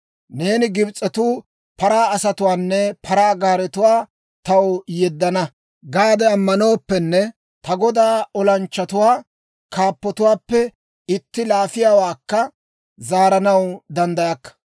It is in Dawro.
Neeni, «Gibs'etuu paraa asatuwaanne paraa gaaretuwaa taw yeddana» gaade ammanooppenne, ta godaa olanchchatuwaa kaappatuwaappe itti laafiyaawaakka zaaranaw danddayakka.